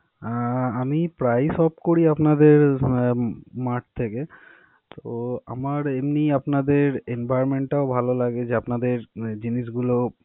আহ আমি প্রায়ই shop করি আপনাদের আহ mart থেকে. তো আমার এমনি আপনাদের environment টাও ভালো লাগে, যে আপনাদের উহ জিনিসগুলো।